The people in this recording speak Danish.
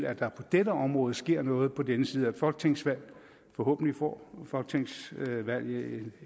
at der på dette område sker noget på denne side af et folketingsvalg forhåbentlig får folketingsvalget